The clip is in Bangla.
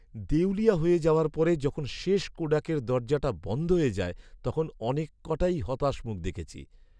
দেউলিয়া হয়ে যাওয়ার পরে যখন শেষ কোডাকের দরজাটা বন্ধ হয়ে যায় তখন অনেক কটাই হতাশ মুখ দেখেছি।